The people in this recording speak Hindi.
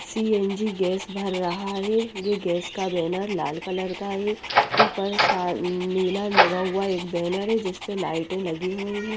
सी_एन_जी गेस भर रहा है ये गेस का बेनर लाल कलर का है उपर सार नीला लगा हुआ एक बेनर है जिसपर लाइटे लगी हुई है।